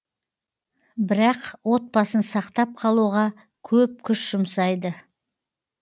бірақ отбасын сақтап қалуға көп күш жұмсайды